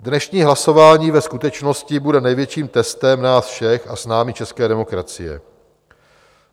Dnešní hlasování ve skutečnosti bude největším testem nás všech a s námi české demokracie.